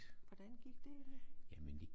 Hvordan gik det egentligt?